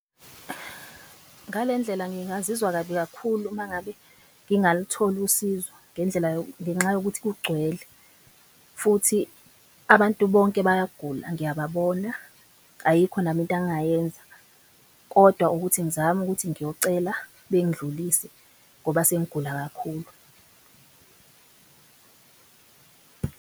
Ngale ndlela ngingazizwa kabi kakhulu uma ngabe ngingalitholi usizo ngenxa yokuthi kugcwele futhi abantu bonke bayagula. Ngiyababona ayikho nami into angayenza kodwa ukuthi ngizame ukuthi ngiyocela bengindlulise ngoba sengigula kakhulu.